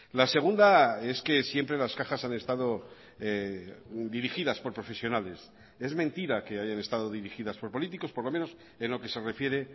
la segunda es que siempre las cajas han estado dirigidas por profesionales es mentira que hayan estado dirigidas por políticos por lo menos en lo que se refiere